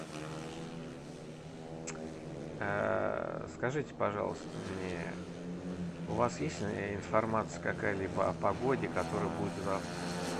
скажите пожалуйста мне у вас есть информация какая либо о погоде которая будет завтра